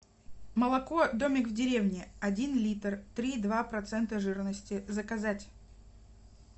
молоко домик в деревне один литр три и два процента жирности заказать